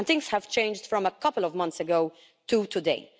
Things have changed from a couple of months ago to today.